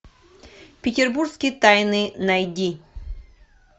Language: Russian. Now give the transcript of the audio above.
петербургские тайны найди